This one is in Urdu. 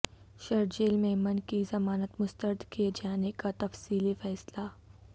شرجیل میمن کی ضمانت مسترد کیے جانے کا تفصیلی فیصلہ